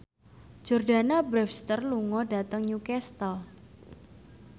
Jordana Brewster lunga dhateng Newcastle